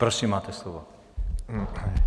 Prosím, máte slovo.